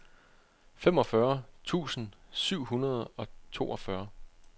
femogfyrre tusind syv hundrede og toogfyrre